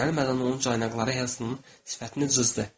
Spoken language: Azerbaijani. Gözləmədən onun caynaqları Helsenin sifətini cızdı.